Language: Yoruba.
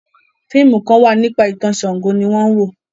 fíìmù Kan wá nípa itan Ṣàngó ní wón wọ.